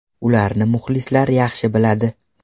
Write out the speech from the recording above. Ularni muxlislar yaxshi biladi.